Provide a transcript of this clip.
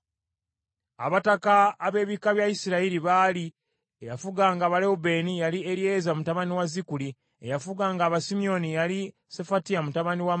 Abataka ab’ebika bya Isirayiri baali: eyafuganga Abalewubeeni yali Eryeza mutabani wa Zikuli; eyafuganga Abasimyoni yali Sefatiya mutabani wa Maaka;